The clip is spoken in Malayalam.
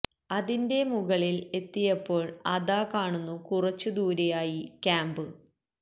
അതിന്റെ മുകളില് എത്തിയപോള് അതാ കാണുന്നു കുറച്ചു ദൂരെ ആയി ക്യാമ്പ്